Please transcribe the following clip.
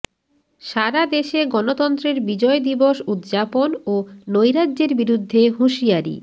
সারাদেশে গণতন্ত্রের বিজয় দিবস উদযাপন ও নৈরাজ্যের বিরুদ্ধে হুঁশিয়ারি